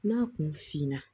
N'a kun finna